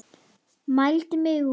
Mældi mig út.